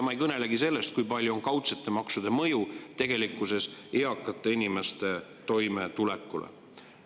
Ma ei kõnelegi sellest, kui suur on tegelikkuses kaudsete maksude mõju eakate inimeste toimetulekule.